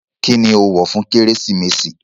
Kini o wọ fun Keresimesi?